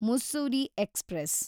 Mussoorie express